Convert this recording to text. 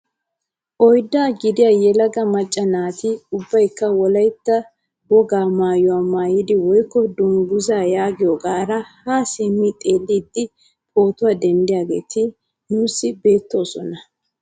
Oyddaa gidiyaa yelaga macca naati ubbayikka wolaytta wogaa maayuwaa maayidi woykko dunguzaa yaagiyoogara haa simmi xeelliidi pootuwaa denddiyaageti nuusi beettoosona.